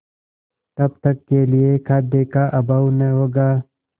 तब तक के लिए खाद्य का अभाव न होगा